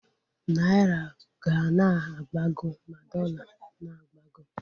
Naira ga na-agbago ma dọla na-agbago